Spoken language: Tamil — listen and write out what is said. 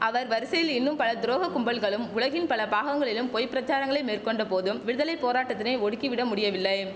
அவர் வரிசையில் இன்னும் பல துரோக கும்பல்களும் உலகின் பல பாகங்களிலும் பொய்ப் பிரசாரங்களை மேற்கொண்ட போதும் விடுதலை போராட்டத்தினை ஒடுக்கிவிட முடியவில்லை